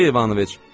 Aleksey İvanoviç!